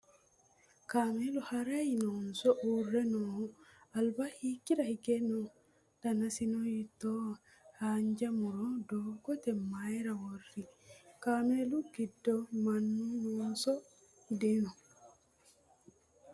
Kaamelu harayi noonso uurre nooho? Alba hiikkira hige no? Danasino hiittoho? Haanja murono doogote mayiira worroyi? Kaamelu giddo mannu noonso dino?